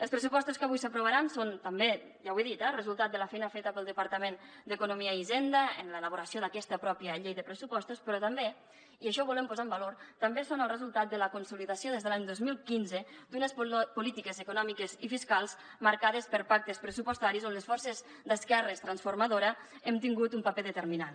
els pressupostos que avui s’aprovaran són també ja ho he dit eh resultat de la feina feta pel departament d’economia i hisenda en l’elaboració d’aquesta pròpia llei de pressupostos però també i això ho volem posar en valor són el resultat de la consolidació des de l’any dos mil quinze d’unes polítiques econòmiques i fiscals marcades per pactes pressupostaris on les forces d’esquerres transformadores hem tingut un paper determinant